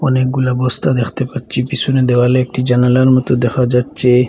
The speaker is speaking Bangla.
অনেকগুলা বস্তা দেখতে পাচ্ছি পিসনে দেওয়ালে একটি জানালার মত দেখা যাচ্চে ।